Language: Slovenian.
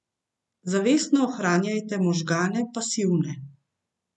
Zavestno ohranjajte možgane pasivne.